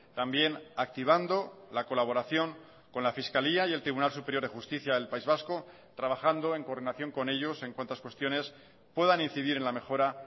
también activando la colaboración con la fiscalía y el tribunal superior de justicia del país vasco trabajando en coordinación con ellos en cuantas cuestiones puedan incidir en la mejora